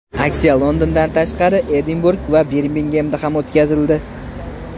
Aksiya Londondan tashqari, Edinburg va Birmingemda ham o‘tkazildi.